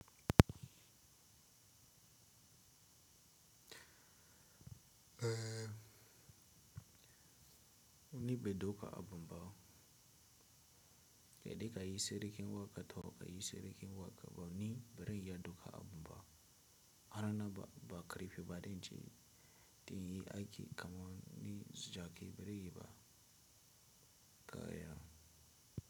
Ni ban dauka a bumba, saide ka yi seri ken waka, saide ka yi seri ken waka ba ni bere yi ya doka a bumba. Harana ba ba karfi bane dani, dan jyi aki kaman ni jaki bazan yi ba. Kaya.